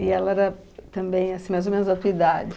E ela era também, assim, mais ou menos da tua idade?